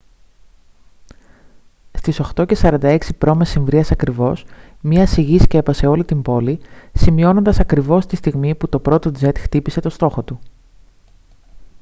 στις 8:46 π.μ. ακριβώς μια σιγή σκέπασε όλη την πόλη σημειώνοντας ακριβώς τη στιγμή που το πρώτο τζετ χτύπησε τον στόχο του